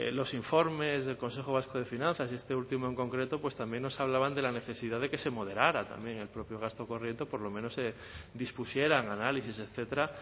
los informes del consejo vasco de finanzas y este último en concreto también nos hablaban de la necesidad de que se moderara también el propio gasto corriente o por lo menos se dispusieran análisis etcétera